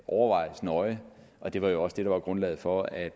overvejes nøje og det var jo også det der var grundlaget for at